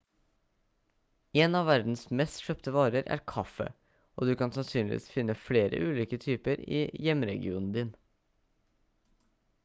en av verdens mest kjøpte varer er kaffe og du kan sannsynligvis finne flere ulike typer i hjemregionen din